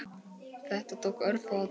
Þetta tók örfáa daga.